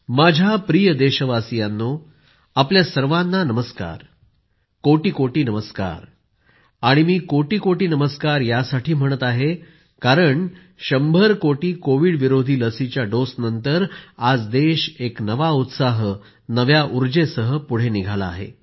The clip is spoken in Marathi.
माझ्या प्रिय देशवासियांनो आपल्या सर्वाना नमस्कार। कोटी कोटी नमस्कार आणि मी कोटी कोटी नमस्कार यासाठी म्हणत आहे कारण 100 कोटी कोविडविरोधी लसीच्या डोसनंतर आज देश एक नवा उत्साह नव्या उर्जेसह पुढे निघाला आहे